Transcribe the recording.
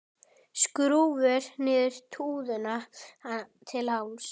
Skrúfar niður rúðuna til hálfs.